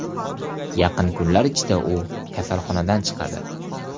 Yaqin kunlar ichida u kasalxonadan chiqadi.